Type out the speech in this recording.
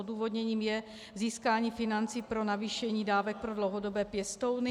Odůvodněním je získání financí pro navýšení dávek pro dlouhodobé pěstouny.